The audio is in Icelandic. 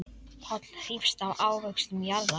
Páll hrífst af ávöxtum jarðar.